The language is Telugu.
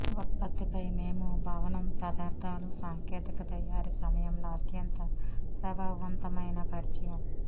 ఉత్పత్తిపై మేము భవనం పదార్థాలు సాంకేతిక తయారీ సమయంలో అత్యంత ప్రభావవంతమైన పరిచయం